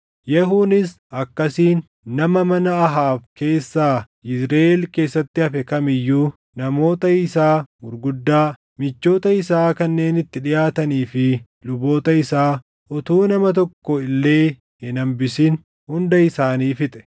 Yehuunis akkasiin nama mana Ahaab keessaa Yizriʼeel keessatti hafe kam iyyuu, namoota isaa gurguddaa, michoota isaa kanneen itti dhiʼaatanii fi luboota isaa, utuu nama tokko illee hin hambisin hunda isaanii fixe.